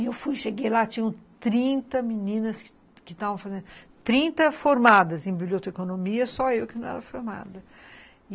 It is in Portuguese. E eu fui, cheguei lá, tinham trinta meninas que estavam fazendo, trinta formadas em biblioteconomia, só eu que não era formada.